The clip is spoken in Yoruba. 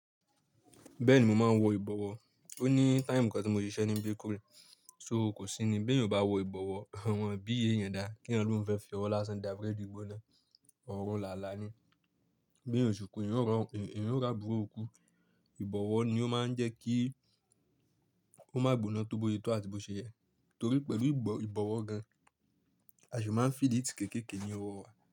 Bẹ́ẹ̀ni mo máa ń wọ ìbọ̀wọ́, ó ní táìmù kan tí mo ṣiṣẹ́ ní bakery, ṣo kò sí ni pé ìwọ bá wọ ìbọ̀wọ́, àwọn BA yẹn dáa kí ẹni ló ń fẹ́ fi ọwọ́ lásán dá búrẹ́dì gbóná, ọ̀rùn làálàá ni. Bí ènìyàn ò ṣukú, ènìyàn ó rabúro ikú, ìbọ̀wọ́ ni ó máa ń jẹ́ kí ó má gbona tó bóyetọ́ àti bó ṣe yẹ, torí pẹ̀lú ìbọ̀wọ́ gan, a ṣì máa ń feel heat kéékèèké ní ọwọ́ wa.